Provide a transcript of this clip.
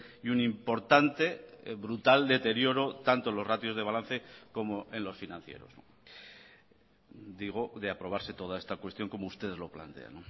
y un importante brutal deterioro tanto en los ratios de balance como en los financieros digo de aprobarse toda esta cuestión como ustedes lo plantean